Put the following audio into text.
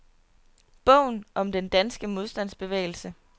Bogen om den danske modstandsbevægelse.